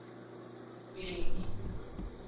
bheki